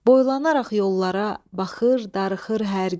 Boylanaraq yollara baxır, darıxır hər gün.